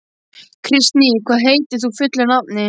Kristný, hvað heitir þú fullu nafni?